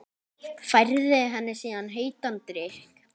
Færði henni síðan heitan drykk.